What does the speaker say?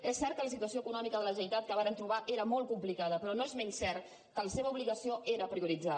és cert que la situació econòmica de la generalitat que varen trobar era molt complicada però no és menys cert que la seva obligació era prioritzar